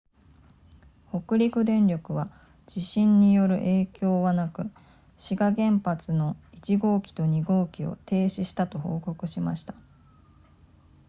北陸電力は地震による影響はなく志賀原発の1号機と2号機を停止したと報告しました